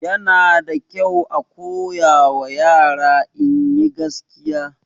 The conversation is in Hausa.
Yana da kyau a koyawa yara inyi gaskiya